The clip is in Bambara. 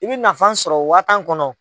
I bɛ nanfan sɔrɔ waa tan kɔnɔ.